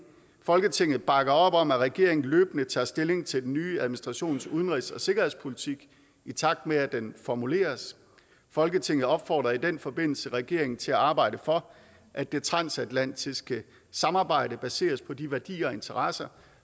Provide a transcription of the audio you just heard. folketinget bakker op om at regeringen løbende tager stilling til den nye administrations udenrigs og sikkerhedspolitik i takt med at den formuleres folketinget opfordrer i den forbindelse regeringen til at arbejde for at det transatlantiske samarbejde baseres på de værdier og interesser